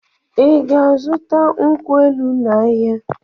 Ị ga-azụta nkwụ elụ n'ahịa?